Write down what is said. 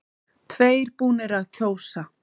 Tveir búnir að kjósa